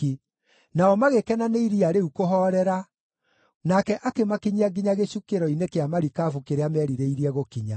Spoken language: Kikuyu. Nao magĩkena nĩ iria rĩu kũhoorera, nake akĩmakinyia nginya gĩcukĩro-inĩ kĩa marikabu kĩrĩa merirĩirie gũkinya.